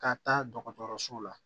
Ka taa dɔgɔtɔrɔso la